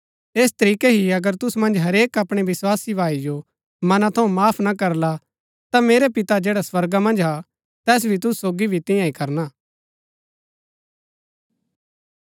ऐस तरीकै ही अगर तुसु मन्ज हरेक अपणै विस्वासी भाई जो मना थऊँ माफ ना करला ता मेरै पिते जैडा स्वर्गा मन्ज हा तैस भी तुसु सोगी भी तियां ही करणा